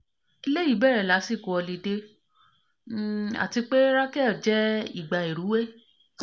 eleyi bere lasiko họlidé um ati pe ti rachelle je ìgbà ìrúwé